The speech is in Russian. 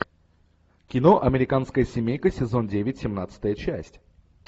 кино американская семейка сезон девять семнадцатая часть